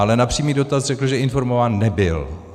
Ale na přímý dotaz řekl, že informován nebyl.